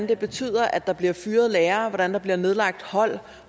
det betyder at der bliver fyret lærere at der bliver nedlagt hold